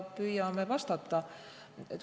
Püüame vastata.